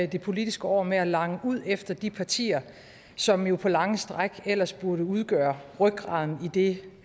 det politiske år med at lange ud efter de partier som jo på lange stræk ellers burde udgøre rygraden i det